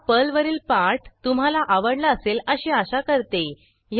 हा पर्लवरील पाठ तुम्हाला आवडला असेल अशी आशा करते